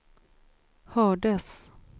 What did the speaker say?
hördes